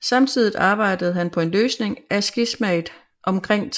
Samtidigt arbejdet han på en løsning af skismaet omkring